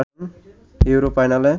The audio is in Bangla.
ইউরো ফাইনালে